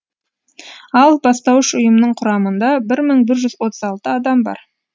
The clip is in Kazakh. ал бастауыш ұйымның құрамында бір мың бір жүз отыз алты адам бар